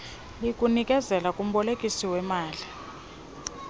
kulinikezela kumbolekisi weemali